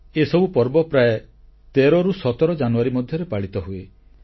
ଏସବୁ ପର୍ବ ପ୍ରାୟ 13 ରୁ 17 ଜାନୁଆରୀ ମଧ୍ୟରେ ପାଳିତ ହୁଏ